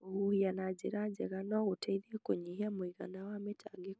Kũhuhia na njĩra njega no gũteithie kũnyihia mũigana wa mĩtangĩko.